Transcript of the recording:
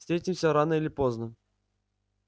встретимся рано или поздно